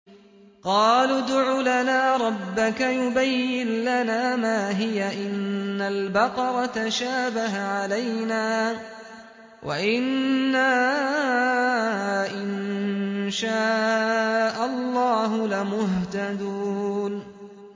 قَالُوا ادْعُ لَنَا رَبَّكَ يُبَيِّن لَّنَا مَا هِيَ إِنَّ الْبَقَرَ تَشَابَهَ عَلَيْنَا وَإِنَّا إِن شَاءَ اللَّهُ لَمُهْتَدُونَ